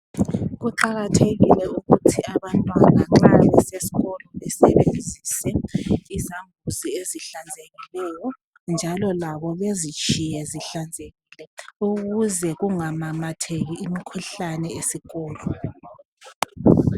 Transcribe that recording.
Kuqakethekile ukuthi abantwana nxa besiya esikolo basebenzise izambuzi ezihlanzekileyo ,njalo labo bezitshiye zihlanzekile ukuze kungamamatheki umkhuhlane esikolo.